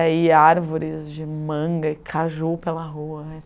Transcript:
daí árvores de manga e caju pela rua.